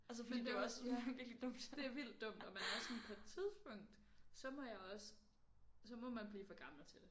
Men det er også ja. Det er vildt dumt og man er sådan på et tidspunkt så må jeg også så må man blive for gammel til det